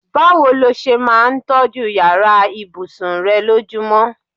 Báwo ló s̩e máa ń tó̩jú yàrá ìbùsùn re̩ lójúmo̩?